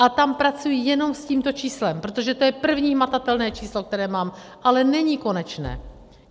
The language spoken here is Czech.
A tam pracuji jenom s tímto číslem, protože to je první hmatatelné číslo, které mám, ale není konečné.